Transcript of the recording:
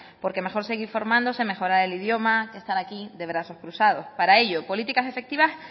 porque mejor seguir formándose mejorar el idioma que estar aquí de brazos cruzados para ello políticas efectivas